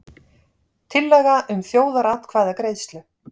Tillaga um þjóðaratkvæðagreiðslu